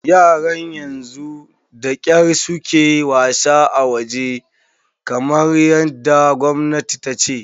Yaran yanzu da kyar su ke wasa a waje, kamar yadda gwamnati ta ce.